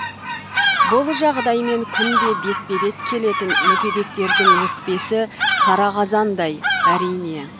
бұл жағдаймен күнде бетпе бет келетін мүгедектердің өкпесі қара қазандай әрине